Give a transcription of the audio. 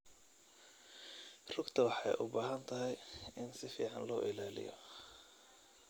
Rugta waxay u baahan tahay in si fiican loo ilaaliyo.